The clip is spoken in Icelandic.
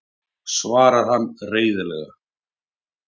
svarar hann reiðilega.